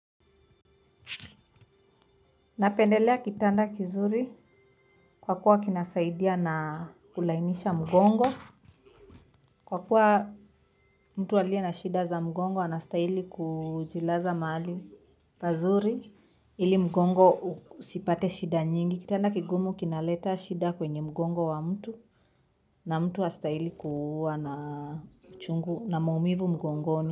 Napendelea kitanda kizuri kwa kuwa kinasaidia na kulainisha mgongo. Kwa kuwa mtu aliye na shida za mgongo anastaili kujilaza mahali pazuri ili mgongo usipate shida nyingi. Kitanda kigumu kinaleta shida kwenye mgongo wa mtu na mtu hastahili kuwa na chungu na maumivu mgongoni.